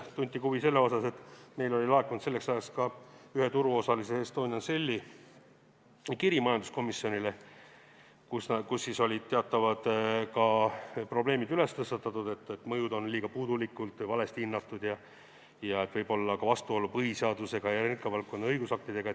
Tunti huvi selle vastu, et meile oli laekunud selleks ajaks ka ühe turuosalise, Estonian Celli kiri majanduskomisjonile, kus olid teatavad probleemid tõstatatud: mõjud on puudulikult ja valesti hinnatud ning võib olla ka vastuolu põhiseadusega ja energiavaldkonna õigusaktidega.